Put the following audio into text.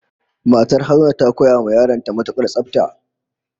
Matar Haruna ta koya wa yaran ta matukar tsafta